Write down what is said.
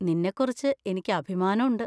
നിന്നെക്കുറിച്ച് എനിക്ക് അഭിമാനം ഉണ്ട്.